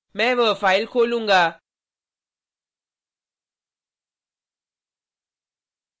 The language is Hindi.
मैं वह फाइल खोलूँगा